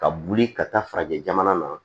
Ka boli ka taa farajɛ jamana na